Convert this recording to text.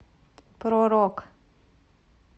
про рок